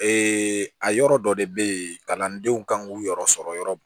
a yɔrɔ dɔ de bɛ yen kalandenw kan k'u yɔrɔ sɔrɔ yɔrɔ mun